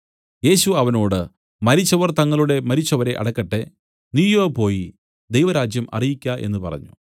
യേശു അവനോട് മരിച്ചവർ തങ്ങളുടെ മരിച്ചവരെ അടക്കട്ടെ നീയോ പോയി ദൈവരാജ്യം അറിയിക്ക എന്നു പറഞ്ഞു